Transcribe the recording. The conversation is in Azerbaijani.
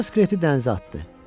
Qoca skeleti dənizə atdı.